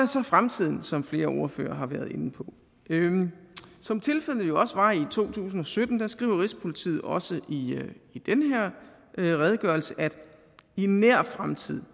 så fremtiden som flere ordførere har været inde på som tilfældet jo var i to tusind og sytten skriver rigspolitiet også i den her redegørelse at i nær fremtid